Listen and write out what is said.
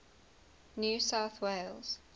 new south wales